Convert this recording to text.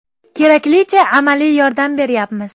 Keraklicha amaliy yordam beryapmiz.